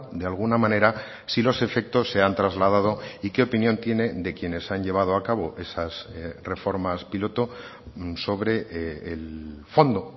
de alguna manera si los efectos se han trasladado y qué opinión tiene de quienes han llevado a cabo esas reformas piloto sobre el fondo